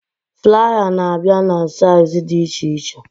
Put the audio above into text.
Flaya na abịa na saịz dị iche iche